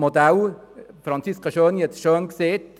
Grossrätin Schöni-Affolter hat es gesagt.